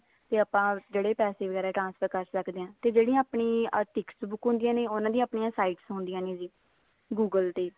ਤੇ ਆਪਾਂ ਜਿਹੜੇ ਪੈਸੇ transfer ਕਰ ਸਕਦੇ ਹਾਂ ਤੇ ਜਿਹੜੀਆਂ ਆਪਣੀ tickets book ਹੁੰਦੀਆਂ ਨੇ ਉਹਨਾ ਦੀਆਂ ਆਪਣੀਆਂ sites ਹੁੰਦੀਆਂ ਨੇ google ਤੇ